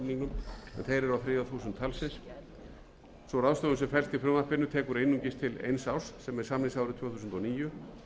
talsins sú ráðstöfun sem felst í frumvarpinu tekur einungis til eins árs samningsársins tvö þúsund og níu